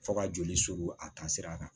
Fo ka joli suru a taasira kan